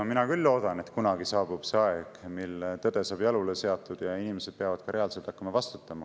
No mina küll loodan, et kunagi saabub see aeg, mil tõde saab jalule seatud ja inimesed peavad ka reaalselt hakkama vastutama.